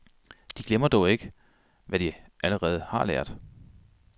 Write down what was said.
De glemmer dog ikke, hvad de allerede har lært.